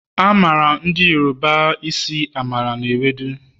A mara Ndi yoruba esi Amala na ewedu